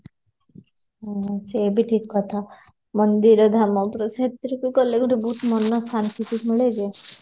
ହୁଁ ସେ ବି ଠିକ କଥା ମନ୍ଦିର ଧାମ ସେ ଭିତରକୁ ଗଲେ ଗୋଟେ ମନ ଶାନ୍ତି ସେଠି ମିଳେ ଯେ